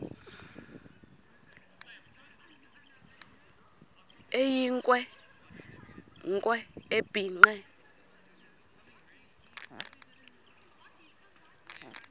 eyinkwe nkwe ebhinqe